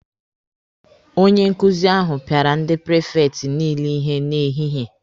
Onye nkuzi ahụ pịara ndị prifekti niile ihe n'ehihie.